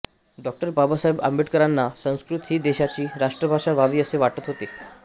डाॅ बाबासाहेब आंबेडकरांना संस्कृत ही देशाची राष्ट्रभाषा व्हावी असे वाटत होते